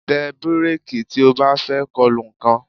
Tẹ bíréèkì tí o bá fẹ́ kolu nǹkan